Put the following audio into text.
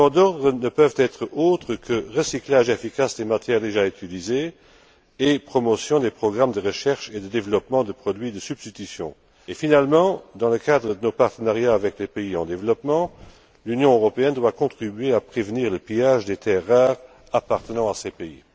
Les mots d'ordre ne peuvent être autres que recyclage efficace des matières déjà utilisées et promotion des programmes de recherche et de développement de produits de substitution. Finalement, dans le cadre de nos partenariats avec les pays en développement, l'Union européenne doit contribuer à prévenir le pillage des terres rares appartenant à ces pays.